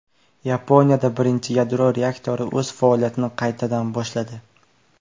Yaponiyada birinchi yadro reaktori o‘z faoliyatini qaytadan boshladi .